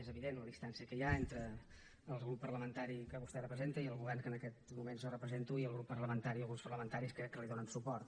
és evident la distància que hi ha entre el grup parlamentari que vostè representa i el govern que en aquest moment jo represento i el grup parlamentari o grups parlamentaris que li donen suport